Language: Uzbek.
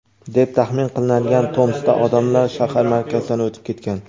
deb taxmin qilinadigan Tomskda odamlar shahar markazidan o‘tib ketgan.